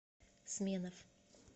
сменов